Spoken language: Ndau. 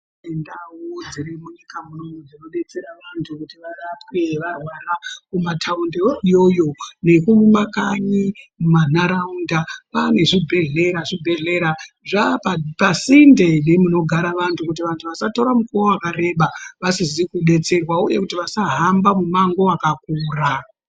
Ndau dzirimunyika munomu dzinodetsera vantu kuti varapwe kumataundi iyo iyoyo nekumakanyi mumanharaunda kwanezvibhehlera. Zvibhehlera zvapasinde nemunogara antu kuti vantu vasatore nguwa yakareba vasisi kudetserwa uye kuti vasahambe mumango wakakura.